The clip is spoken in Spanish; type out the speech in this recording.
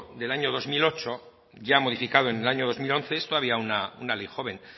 del año dos mil ocho ya modificado en el año dos mil once es todavía una ley joven